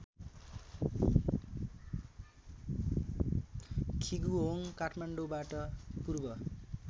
खिगुहोङ काठमाडौँबाट पूर्व